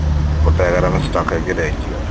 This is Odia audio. ଗୋଟାଏ ଜାଗାରେ ଆମେ stock ହେଇକି ରହିଯିବା